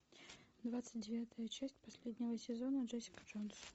двадцать девятая часть последнего сезона джессика джонс